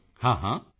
ਮੋਦੀ ਜੀ ਹਾਂ ਹਾਂ